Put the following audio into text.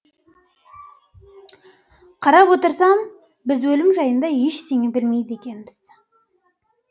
қарап отырсам біз өлім жайында ештеңе білмейді екенбіз